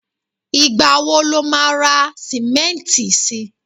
igba wo lo ma ra simẹnti sí